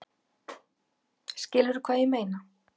Skilurðu hvað ég meina?